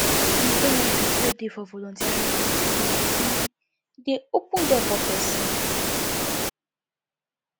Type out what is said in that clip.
di benefit wey dey for volunteering cause plenty e dey open door for pesin